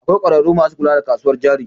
Akwai ƙwararru masu kula da kasuwar jari